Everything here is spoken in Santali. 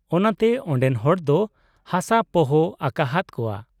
ᱚᱱᱟ ᱛᱮ ᱚᱱᱰᱮᱱ ᱦᱚᱲ ᱫᱚ ᱦᱟᱥᱟ ᱯᱚᱦᱚ ᱟᱠᱟᱦᱟᱫ ᱠᱚᱣᱟ ᱾